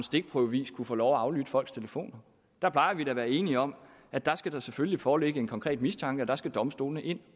stikprøvevis kunne få lov aflytte folks telefoner der plejer vi da at være enige om at der skal der selvfølgelig foreligge en konkret mistanke og der skal domstolene ind